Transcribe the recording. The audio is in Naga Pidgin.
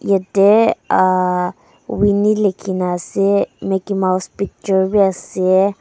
Yate ahh Winni lekhina ase mickey mouse picture bi ase.